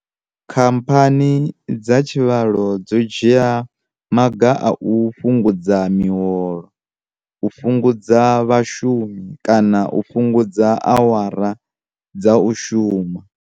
Khamphani dza tshivhalo dzo dzhia maga a u fhu ngudza miholo, u fhungudza vhashumi kana u fhungudza awara dza u shuma.